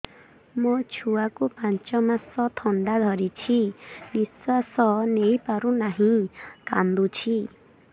ମୋ ଛୁଆକୁ ପାଞ୍ଚ ମାସ ଥଣ୍ଡା ଧରିଛି ନିଶ୍ୱାସ ନେଇ ପାରୁ ନାହିଁ କାଂଦୁଛି